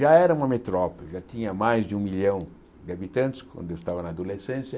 Já era uma metrópole, já tinha mais de um milhão de habitantes, quando eu estava na adolescência.